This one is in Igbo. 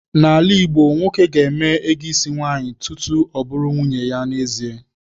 N'ala Igbo, nwoke ga-eme ego isi nwaanyị tutu ọ bụrụ nwunye ya n'ezie.